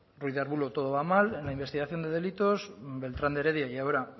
ruiz de arbulo todo va mal en la investigación de delitos beltran de heredia y ahora